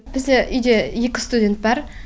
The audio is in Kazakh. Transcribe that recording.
бізде үйде екі студент бар